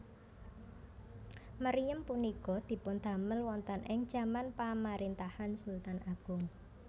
Meriem punika dipundamel wonten ing jaman pamarintahan Sultan Agung